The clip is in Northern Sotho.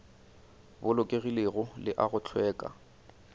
bolokegilego le a go hlweka